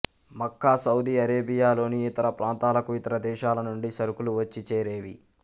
మక్కా Saudi అరేబియాలోని ఇతర ప్రాంతాలకు ఇతర దేశాలనుండి సరుకులు వచ్చి చేరేవి